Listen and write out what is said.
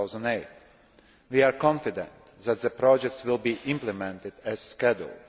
2008. We are confident that the projects will be implemented as scheduled.